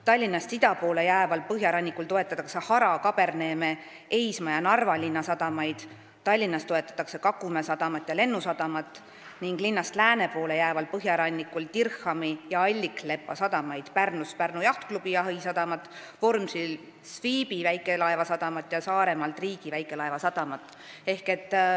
Tallinnast ida poole jääval põhjarannikul toetatakse Hara, Kaberneeme, Eisma ja Narva linna sadamat, Tallinnas toetatakse Kakumäe sadamat ja Lennusadamat ning linnast lääne poole jääval põhjarannikul Dirhami ja Alliklepa sadamat, Pärnus Pärnu Jahtklubi jahisadamat, Vormsil Sviby väikelaevasadamat ja Saaremaal Triigi väikelaevasadamat.